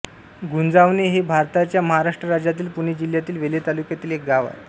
गुंजावणे हे भारताच्या महाराष्ट्र राज्यातील पुणे जिल्ह्यातील वेल्हे तालुक्यातील एक गाव आहे